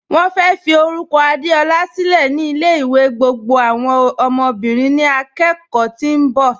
Wọ́n fẹ́ fí orúkọ̀ Adeọla sílẹ̀ ni ilẹ̀-ìwẹ̀ gbogbo awọn ọmọ́bìrín ni àkókò tí n bọ